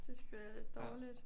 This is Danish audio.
Det sgu da dårligt